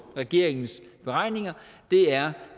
regeringens beregninger er